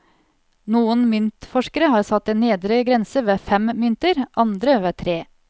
Noen myntforskere har satt en nedre grense ved fem mynter, andre ved tre.